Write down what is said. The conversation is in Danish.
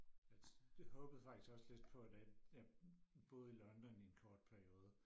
at jeg håbede faktisk også lidt på at at jeg boede i London i en kort periode